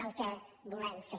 el que volem fer